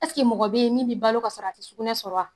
mɔgɔ beyi min bi balo ka sɔrɔ a ti sukunɛ sɔrɔ wa?